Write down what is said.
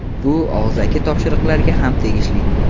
Bu og‘zaki topshiriqlarga ham tegishli.